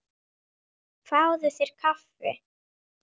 Fáðu þér kaffi.